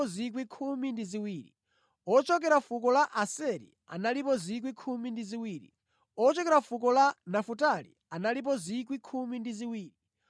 ochokera fuko la Aseri analipo 12,000; ochokera fuko la Nafutali analipo 12,000; ochokera fuko la Manase analipo 12,000;